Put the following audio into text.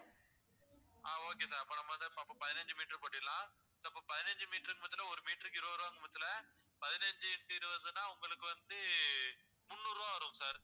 ஆஹ் okay sir அப்போ நம்ப வந்து அப்போ பதினைஞ்சு meter போடுறலாம் இப்போ பதினைஞ்சு meter க்கு பாத்தன்னா ஒரு meter க்கு இருவது ரூபா பட்சத்துல பதினைஞ்சு into இருவதுனா உங்களுக்கு வந்து முந்நூறு ரூபாய் வரும் sir